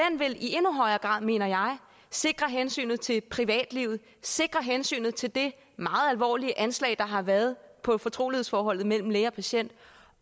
vil i endnu højere grad mener jeg sikre hensynet til privatlivet sikre hensynet til det meget alvorlige anslag der har været på fortrolighedsforholdet mellem læge og patient